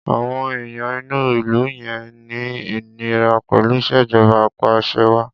Àwọn èèyàn inú ìlú yẹn ń ní ìníra pẹ̀lú ìṣèjọba apàṣẹwàá.